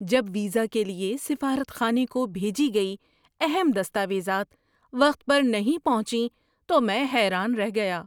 جب ویزا کے لیے سفارت خانے کو بھیجی گئی اہم دستاویزات وقت پر نہیں پہنچیں تو میں حیران رہ گیا۔